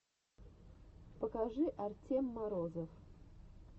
покажи артем морозов